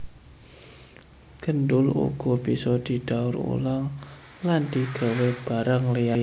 Gendul uga bisa didaur ulang lan digawé barang liyané